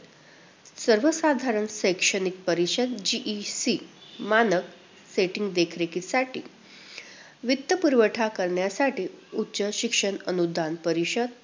सर्वसाधारण शैक्षणिक परिषद GEC मानव setting देखरेखीसाठी वित्त पुरवठा करण्यासाठी उच्च शिक्षण अनुदान परीषद.